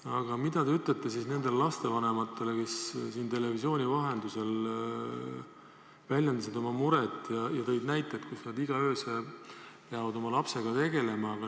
Aga mida te ütlete nendele lapsevanematele, kes on televisiooni vahendusel väljendanud oma muret ja toonud näiteid, kuidas nad peavad igal öösel oma lapsega tegelema?